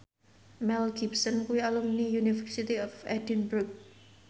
Mel Gibson kuwi alumni University of Edinburgh